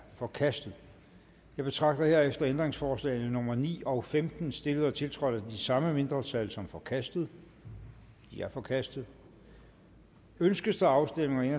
forkastet jeg betragter herefter ændringsforslagene nummer ni og femten stillet og tiltrådt af det samme mindretal som forkastet de er forkastet ønskes der afstemning